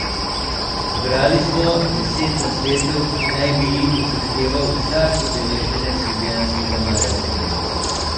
Zbrali smo deset nasvetov, ki naj bi jih upošteval vsak udeleženec Ljubljanskega maratona.